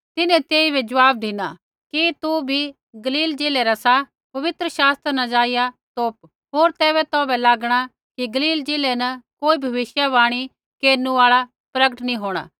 तिन्हैं तेइबै ज़वाब धिनु कि तू भी गलील ज़िलै रा सा पवित्र शास्त्रा न जाइया तोप होर तैबै तौभै लागणा कि गलील ज़िलै न कोई भविष्यवाणी केरनु आल़ा प्रकट नैंई होंणा